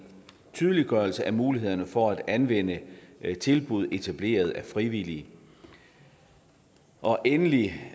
tydeliggørelse af mulighederne for at anvende tilbud etableret af frivillige og endelig